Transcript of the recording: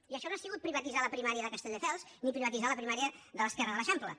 i això no ha sigut privatitzar la primària de castelldefels ni privatitzar la primària de l’esquerra de l’eixample